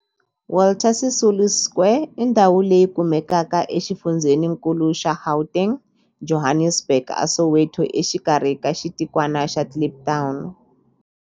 Walter Sisulu Square i ndhawu leyi kumekaka exifundzheninkulu xa Gauteng, Johannesburg, a Soweto, exikarhi ka xitikwana xa Kliptown.